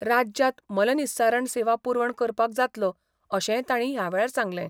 राज्यांत मलनिस्सारण सेवा पुरवण करपाक जातलो, अशेंय तांणी ह्यावेळार सांगलें.